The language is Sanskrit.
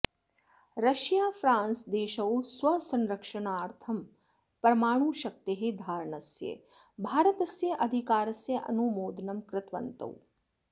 रशीया फ्रान्स देशौ स्वसंरक्षणर्थं परमाणुशक्तेः धारणस्य भारतस्य अधिकारस्य अनुमोदनं कृतवन्तौ